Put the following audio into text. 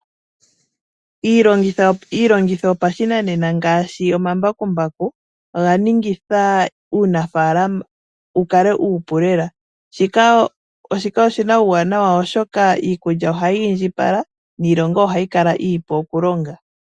Iilongitho yopashinanena ngaashi omambakumbaku oganingitha uunafaalama wukale uupu lela . Shika oshina uuwanawa oshoka iikulya ohayi indjipala niilonga ohayi kala iipu okulonga.